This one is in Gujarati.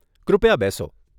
કૃપયા બેસો.